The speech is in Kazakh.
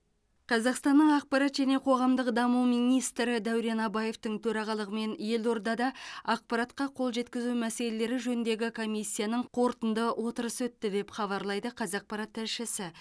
қазақстанның ақпарат және қоғамдық даму министрі дәурен абаевтың төрағалығымен елордада ақпаратқа қол жеткізу мәселелері жөніндегі комиссияның қорытынды отырысы өтті деп хабарлайды қазақпарат тілшісі